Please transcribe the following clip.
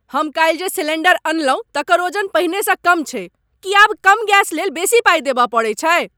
हम काल्हि जे सिलेंडर अनलहुँ तकर ओजन पहिनेसँ कम छैक। की आब कम गैस लेल बेसी पाइ देबय पड़ैत छैक ?